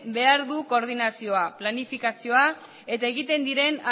behar du koordinazioa planifikazioa eta egiten diren